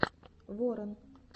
ворон